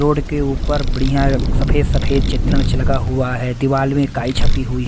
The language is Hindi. रोड केऊपर बढ़िया सफेद सफेद चित्रण लगा हुआ है दीवाल में काई छपी हुई।